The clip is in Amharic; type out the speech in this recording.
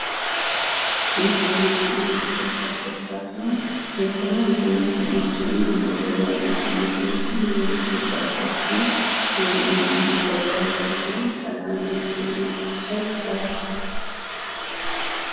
ይህ የመኪና መሸጫ ስፍራ ሲሆን የተለያዩ መኪናዎችን እና ሞዴል ያላቸው መኪናዎችን የመሸጫ ቦታ ነው። ይሄም የመሸጫ ቦታ ስሙ ሰላም የመኪና መሸጫ ይባላል ።